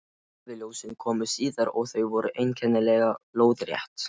Norðurljósin komu síðar, og þau voru einkennilega lóðrétt.